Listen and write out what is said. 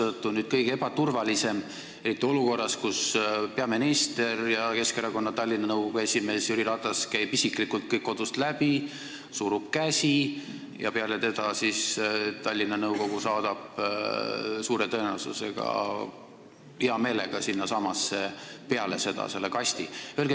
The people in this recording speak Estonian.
Kodus hääletamine on kõige ebaturvalisem, eriti olukorras, kus peaminister ja Keskerakonna Tallinna nõukogu esimees Jüri Ratas käib isiklikult kodud läbi, surub käsi ja peale seda Tallinna nõukogu saadab suure tõenäosusega hea meelega sinnasamasse selle kasti.